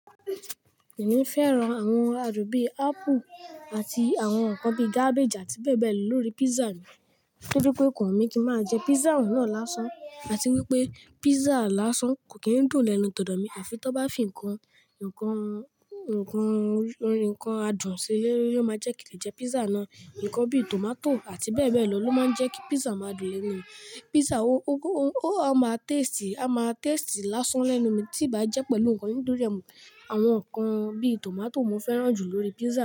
Èmi fẹ́ran àwọn àdún bí apple àti àwọn ǹkan bí cabbage àti bẹ́ẹ̀ bẹ́ẹ̀ lọ lórí pizza mi, kí ó tó pé kò wú mí kí máa jẹ pizza náà lásán àti wípé pizza lásán kò kí ń dùn lẹ́nu tòdò mí àfi tí wọ́n bá fi ǹkan, ǹkan, ǹkan orí, ǹkan adùn sí i ni ó máa jẹ́ kí lè jẹ pizza náà. Ǹkan bí tomato àti bẹ́ẹ̀ bẹ́ẹ̀ lọ ló máa ń jẹ́ kí pizza máa dùn lẹ́nu. Pizza ó, ó máa taste, a máa taste lásán lẹ́nu mi tí ì bá jẹ́ pẹ̀lú ǹkan inú rẹ̀. Àwọn ǹkan bí tomato mo fẹ́ràn jù lórí pizza.